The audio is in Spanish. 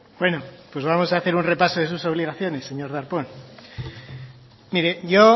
vamos a hacer un repaso de sus obligaciones señor darpón mire yo